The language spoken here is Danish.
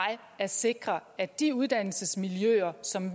at sikre at de uddannelsesmiljøer som